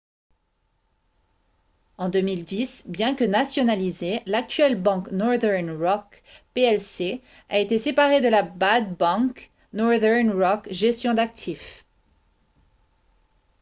en 2010 bien que nationalisée l'actuelle banque northern rock plc a été séparée de la « bad bank, » northern rock gestion d'actifs